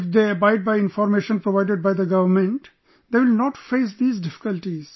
If they abide by information provided by the government, they will not face these difficulties